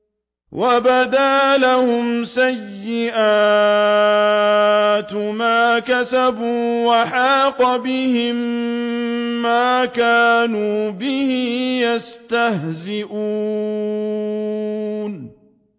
وَبَدَا لَهُمْ سَيِّئَاتُ مَا كَسَبُوا وَحَاقَ بِهِم مَّا كَانُوا بِهِ يَسْتَهْزِئُونَ